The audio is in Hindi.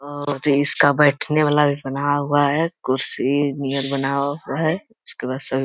और इसका बैठने वाला भी बना हुआ है कुर्सी नियर बना हुआ है। उसके बाद सभी --